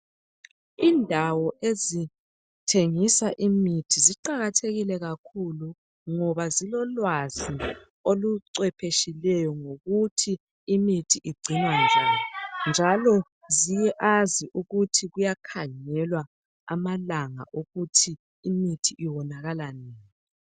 Indawo ezithengisa imithi ziqakathekile kakhulu ngoba zilolwazi olucwephetshileyo ngokuthi imithi igcinwa njani njalo ziyazi ukuthi kuyakhangelwa amalanga okuthi imithi iwonakala nini.